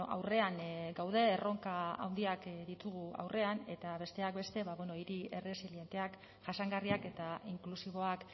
aurrean gaude erronka handiak ditugu aurrean eta besteak beste hiri erresilienteak jasangarriak eta inklusiboak